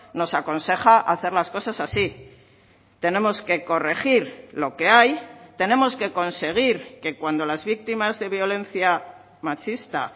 nos aconseja hacer las cosas así tenemos que corregir lo que hay tenemos que conseguir que cuando las víctimas de violencia machista